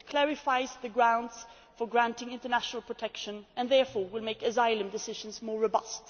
It clarifies the grounds for granting international protection and therefore will make asylum decisions more robust.